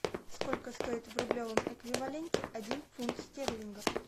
сколько стоит в рублевом эквиваленте один фунт стерлингов